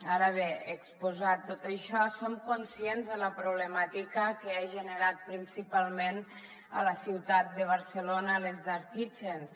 ara bé exposat tot això som conscients de la problemàtica que han generat principalment a la ciutat de barcelona les dark kitchens